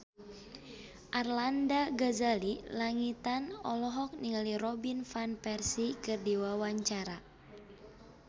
Arlanda Ghazali Langitan olohok ningali Robin Van Persie keur diwawancara